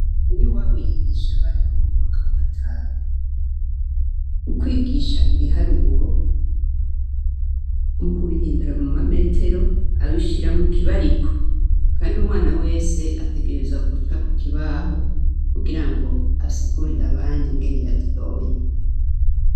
Niwabo yigisha abana bo mu mwaka wa gatanu. ukwigisha ibiharuro mukubihundura muma metero abishira mu kibariko, Kandi umwana wese ategerezwa kuja kukibaho kugira ngo asigurire abandi ingene yabitoye.